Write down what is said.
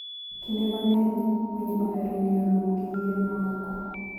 Kinde mang'eny, winy ohero ng'iyo lum gi yien mamoko.